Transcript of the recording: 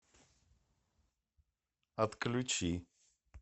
отключи